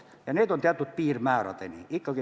See on võimalik teatud piirmääradeni.